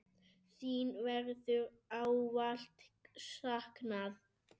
Þín verður ávallt saknað.